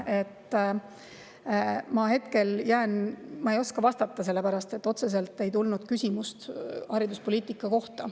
Ma ei oska vastata, sellepärast et otseselt ei tulnud küsimust hariduspoliitika kohta.